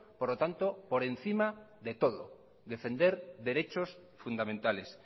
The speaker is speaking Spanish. por lo tanto por encima de todo defender derechos fundamentales